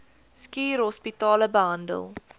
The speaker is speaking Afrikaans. schuur hospitale behandel